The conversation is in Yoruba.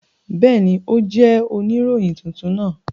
Bẹẹni, o jẹ onirohin tuntun naa.